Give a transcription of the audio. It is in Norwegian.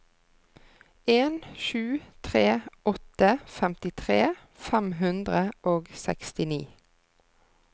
en sju tre åtte femtitre fem hundre og sekstini